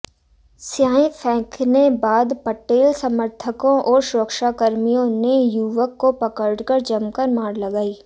स्याही फेंकने बाद पटेल समर्थकों और सुरक्षाकर्मियों ने युवक को पकड़कर जमकर मार लगाई